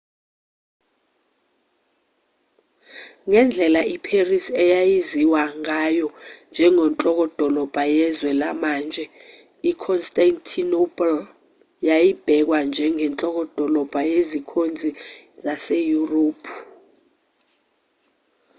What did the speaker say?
ngendlela iparis eyaziwa ngayo njengenhlokodolobha yezwe lamanje iconstantinople yayibhekwa njengenhlokodolobha yezikhonzi zaseyurophu